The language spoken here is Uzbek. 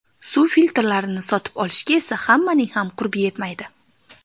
Suv filtrlarini sotib olishga esa hammaning ham qurbi yetmaydi.